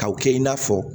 K'aw kɛ i n'a fɔ